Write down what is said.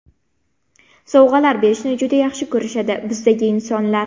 Sovg‘alar berishni juda yaxshi ko‘rishadi bizdagi insonlar.